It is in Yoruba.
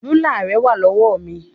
Rúlà rẹ wà lọ́wọ́ mi.